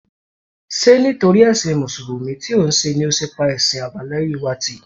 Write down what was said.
Ṣé nítorí ẹṣin Mùsùlùmí tí òun ṣe ni ó ṣe pa ẹ̀sìn àbáláyé wa tì?